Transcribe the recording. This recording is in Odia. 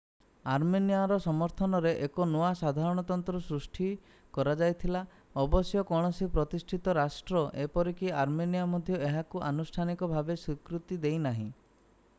ଆର୍ମେନିଆର ସମର୍ଥନରେ ଏକ ନୂଆ ସାଧାରଣତନ୍ତ୍ର ସୃଷ୍ଟି କରାଯାଇଥିଲା ଅବଶ୍ୟ କୌଣସି ପ୍ରତିଷ୍ଠିତ ରାଷ୍ଟ୍ର ଏପରିକି ଆର୍ମେନିଆ ମଧ୍ୟ ଏହାକୁ ଆନୁଷ୍ଠାନିକ ଭାବେ ସ୍ୱୀକୃତି ଦେଇନାହିଁ